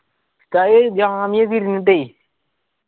ഉസ്താദ്